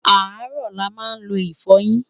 arọ là má n ló ifoyin